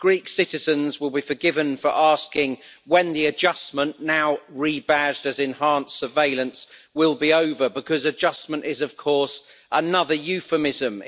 Greek citizens will be forgiven for asking when the adjustment now rebadged as enhanced surveillance will be over because adjustment is, of course, another euphemism.